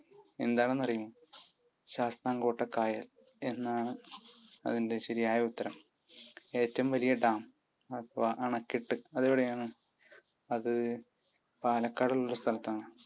എന്താണെന്നറിയുമോ? ശാസ്താംകോട്ട കായൽ എന്നാണ് അതിൻ്റെ ശരിയായ ഉത്തരം. ഏറ്റവും വലിയ ഡാം അഥവാ അണക്കെട്ട്. അതെവിടെയാണ്? അത് പാലക്കാടുള്ള ഒരു സ്ഥലത്താണ്.